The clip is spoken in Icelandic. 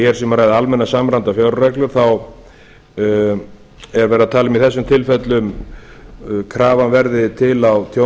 um að ræða almennar samræmdar fjárreglur þá er um að tala í þessum tilfellum að krafan verði til á